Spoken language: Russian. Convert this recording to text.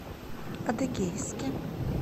адыгейске